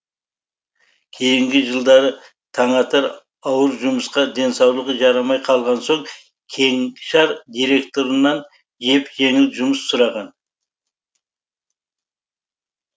кейінгі жылдары таңатар ауыр жұмысқа денсаулығы жарамай қалған соң кеңшар директорынан жеп жеңіл жұмыс сұраған